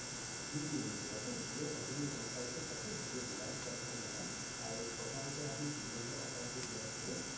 নিদিয়ে নিদিয়ে বাইদেউ জিঅ' ত আপুনি গম পাইছে চাগে জিঅ' Reliance company ৰ হয় আৰু প্ৰথমতে যে আমি জিঅ' ৰ offer টো উলিয়াইচিলো